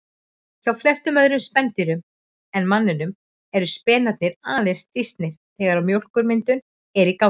Hjá flestum öðrum spendýrum en manninum eru spenarnir aðeins þrýstnir þegar mjólkurmyndun er í gangi.